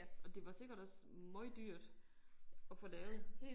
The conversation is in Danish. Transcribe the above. Og det var sikkert også møgdyrt at få lavet